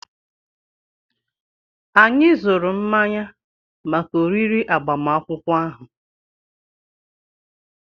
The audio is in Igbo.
Anyị zụrụ mmanya maka oriri agbamakwụkwọ ahụ.